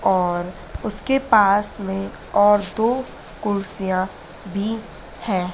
और उसके पास में और दो कुर्सियां भी है।